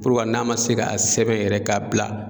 Ko wa n'a ma se ka sɛbɛn yɛrɛ k'a bila